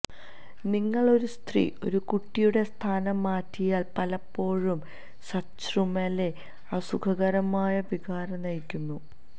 നിങ്ങൾ ഒരു സ്ത്രീ ഒരു കുട്ടിയുടെ സ്ഥാനം മാറ്റിയാൽ പലപ്പോഴും സച്രുമ് ലെ അസുഖകരമായ വികാര നയിക്കുന്നു